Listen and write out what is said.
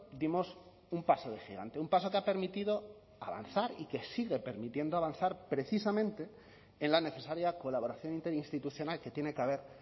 dimos un paso de gigante un paso que ha permitido avanzar y que sigue permitiendo avanzar precisamente en la necesaria colaboración interinstitucional que tiene que haber